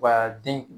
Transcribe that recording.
Wa den